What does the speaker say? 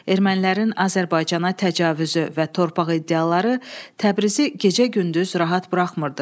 Ermənilərin Azərbaycana təcavüzü və torpaq iddiaları Təbrizi gecə-gündüz rahat buraxmırdı.